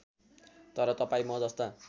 तर तपाईँ म जस्ता